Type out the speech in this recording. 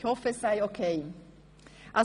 Ich hoffe, das sei in Ordnung.